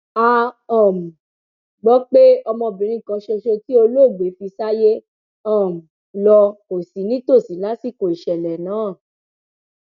a um gbọ pé ọmọbirin kan ṣoṣo tí olóògbé fi sáyé um lọ kò sí nítòsí lásìkò ìṣẹlẹ náà